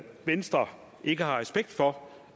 venstre ikke har respekt for